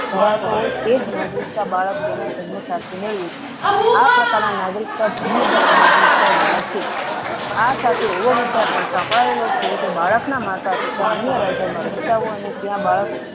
ધરાવતો હોય તેજ નાગરિકતા બાળકો ને જન્મ સાથે મેળવી હતી આ પ્રકાર ના નાગરિકતા જન્મ દત્ત નાગરિકતા ગણાય છે આ સાથે એવો વિચાર પણ સંક્રયેલો છે કે બાળક ના માતા પિતા અન્ય રાજ્યો મા રેહતા હોય અને ત્યાં બાળક